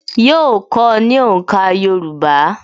Yóò kọ́ ọ ní òǹkà Yorùbá